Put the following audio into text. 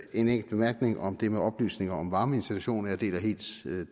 en enkelt bemærkning om det med oplysninger om varmeinstallation jeg deler helt